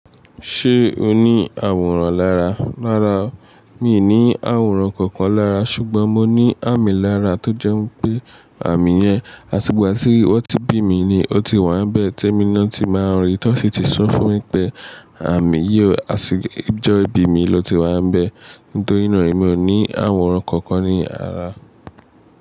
Ṣé o ní àwòrán lára? Rárá, mi ò ní àwòrán kankan lára ṣùgbọ́n mo ní àmì lára tó jẹ́ pé àmì yẹn, àtigba tí wọ́n ti bí mi ni ó ti wà n bẹ́ẹ̀ temi na ti máa ń rí, tó sì ti sọ fún mi pé àmì yíò àtijọ́ ibi mi ló ti wà bẹ́ẹ̀. Nítorí náà emi ò ní àwòrán kankan ní ara.